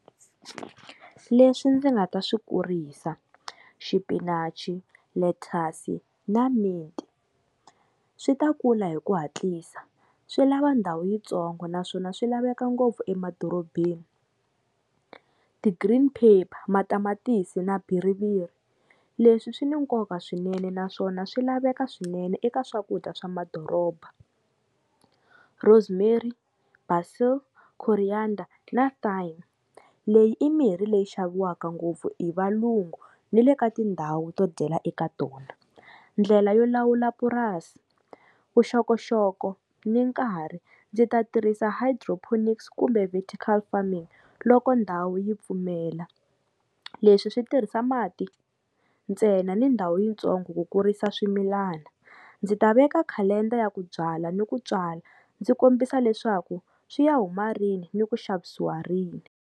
Leswi ndzi nga ta swi kurisa, xipinachi, lettuce na mint, swi ta kula hi ku hatlisa swi lava ndhawu yitsongo naswona swi laveka ngopfu emadorobeni. Ti-green paper, matamatisi na biriviri, leswi swi ni nkoka swinene naswona swi laveka swinene eka swakudya swa madoroba. Rosemary, basil, coriander na thyme, leyi i mirhi leyi xaviwaka ngopfu hi valungu ni le ka tindhawu to dyela eka tona. Ndlela yo lawula purasi, vuxokoxoko ni nkarhi ndzi ta tirhisa hydroponics kumbe vertical farming loko ndhawu yi pfumela, leswi swi tirhisa mati ntsena ni ndhawu yitsongo ku kurisa swimilana. Ndzi ta veka calendar ya ku byala ni ku tswala ndzi kombisa leswaku swi ya huma rini ni ku xavisiwa rini.